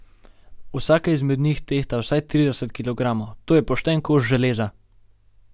Vsaka izmed njih tehta vsaj trideset kilogramov, to je pošten kos železa.